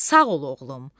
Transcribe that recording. Sağ ol oğlum.